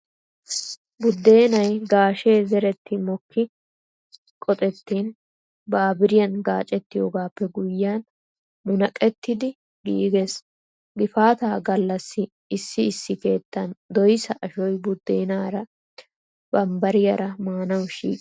Buddeenay gaashee zeretti mokki qoxettiin baburiyan gaacettoogaappe guyyiyaan munaqettidi giigees. Gifaataa gallassi issi issi keettan doyssa ashoy buddeenaara , bambbariyaara maanawu shiiqees.